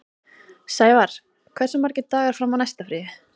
Sævarr, hversu margir dagar fram að næsta fríi?